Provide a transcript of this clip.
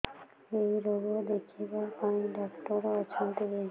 ଏଇ ରୋଗ ଦେଖିବା ପାଇଁ ଡ଼ାକ୍ତର ଅଛନ୍ତି କି